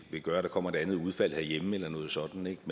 vil gøre at der kommer et andet udfald herhjemme eller noget sådant